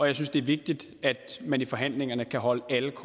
jeg synes det er vigtigt at man i forhandlingerne kan holde alle